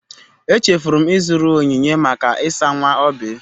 Echefuru m ịzụrụ onyinye maka ịsa nwa Oby.